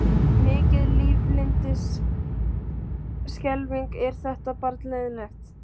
Mikið lifandis skelfing er þetta barn leiðinlegt.